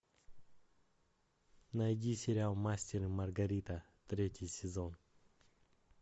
найди сериал мастер и маргарита третий сезон